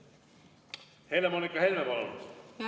Helle-Moonika Helme, palun!